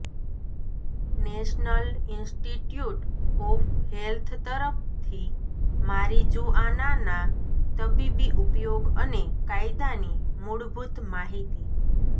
national Institute of Health તરફથી મારિજુઆનાના તબીબી ઉપયોગ અને કાયદાની મૂળભૂત માહિતી